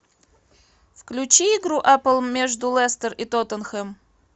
включи игру апл между лестер и тоттенхэм